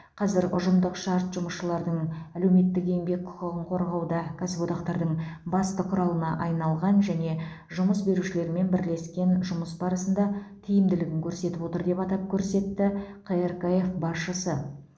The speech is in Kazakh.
қазір ұжымдық шарт жұмысшылардың әлеуметтік еңбек құқығын қорғауда кәсіподақтардың басты құралына айналған және жұмыс берушілермен бірлескен жұмыс барысында тиімділігін көрсетіп отыр деп атап көрсетті қркф басшысы